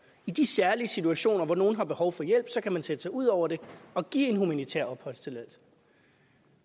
i de særlige situationer hvor nogle har behov for hjælp kan sætte sig ud over det og give en humanitær opholdstilladelse